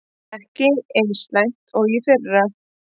Ekki eins slæmt og í fyrra